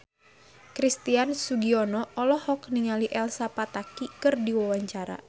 Christian Sugiono olohok ningali Elsa Pataky keur diwawancara